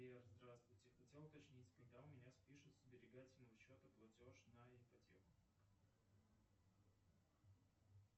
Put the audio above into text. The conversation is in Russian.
сбер здравствуйте хотел уточнить когда у меня спишут со сберегательного счета платеж на ипотеку